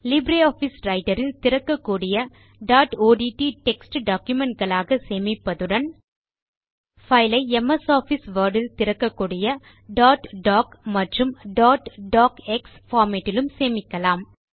Libre office writer இல் திறக்கக்கூடிய dot ODT text document களாக சேமிப்பதுடன் பைல் ஐ எம்எஸ் ஆஃபிஸ் வோர்ட் இல் திறக்கக்கூடிய டாட் டாக் மற்றும் டாட் டாக்ஸ் பார்மேட் இலும் சேமிக்கலாம்